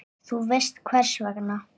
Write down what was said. Þú veist hvers vegna.